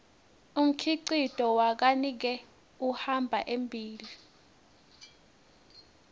umkhicito wakanike uhamba embile